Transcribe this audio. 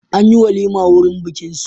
An yi walima wurin bikinsu.